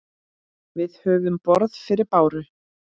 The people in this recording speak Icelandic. Við höfum borð fyrir báru.